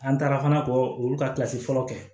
An taara fana kɔ olu ka fɔlɔ kɛ